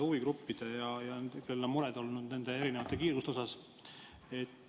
Huvigruppidel on olnud mure nende erinevate kiiruste pärast.